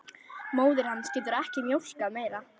Móðir hans getur ekki mjólkað meira.